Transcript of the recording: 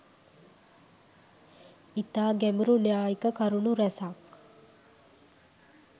ඉතා ගැඹුරු න්‍යායික කරුණු රැසක්